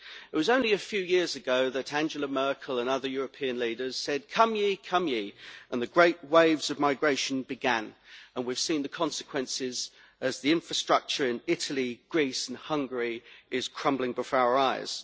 It was only a few years ago that Angela Merkel and other European leaders said come ye, come ye', and the great waves of migration began, and we have seen the consequences as the infrastructure in Italy, Greece and Hungary is crumbling before our eyes.